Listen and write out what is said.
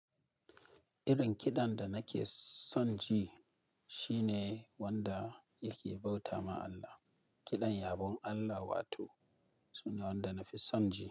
Irin kiɗan da nake son ji shine wanda yake bauta ma Allah. Kiɗan yabon Allah wato, sune wanda nafi son ji.